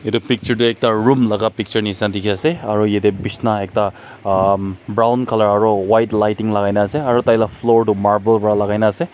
yete picture de ekta room laka picture nishina diki ase aro yete bisna ekta aahhmm brown color aro white lighting lagai na ase aro taila floor tu marble ba lagai na ase.